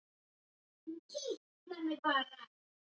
Hugsanlega hefur pabbi haft meira upp úr sandblæstrinum fyrst í stað